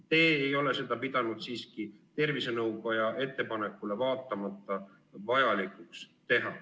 Te ei ole seda pidanud siiski tervisenõukoja ettepanekule vaatamata vajalikuks teha.